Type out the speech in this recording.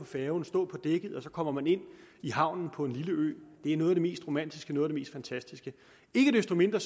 færge og så komme ind i havnen på en lille ø det er noget af det mest romantiske og noget af mest fantastiske ikke desto mindre